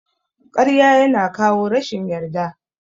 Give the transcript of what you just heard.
Ƙarya yana kawo rashin yarda.